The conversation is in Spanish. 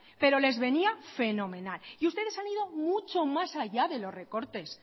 pero les venía fenomenal y ustedes han ido mucho más allá de los recortes